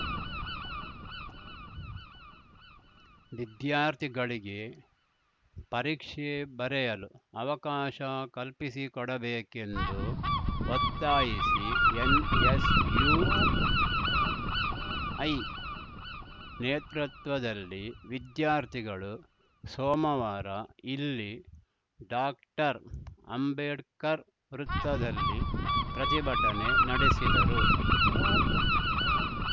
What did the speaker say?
ವಿದ್ಯಾರ್ಥಿಗಳಿಗೆ ಪರೀಕ್ಷೆ ಬರೆಯಲು ಅವಕಾಶ ಕಲ್ಪಿಸಿಕೊಡ ಬೇಕೆಂದು ಒತ್ತಾಯಿಸಿ ಎನ್‌ಎಸ್‌ಯುಐ ನೇತೃತ್ವದಲ್ಲಿ ವಿದ್ಯಾರ್ಥಿಗಳು ಸೋಮವಾರ ಇಲ್ಲಿ ಡಾಕ್ಟರ್ಅಂಬೇಡ್ಕರ್‌ ವೃತ್ತದಲ್ಲಿ ಪ್ರತಿಭಟನೆ ನಡೆಸಿದರು